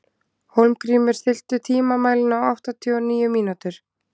Hólmgrímur, stilltu tímamælinn á áttatíu og níu mínútur.